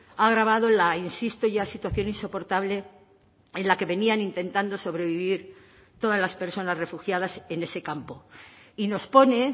ha agravado la insiste ya situación insoportable en la que venían intentando sobrevivir todas las personas refugiadas en ese campo y nos pone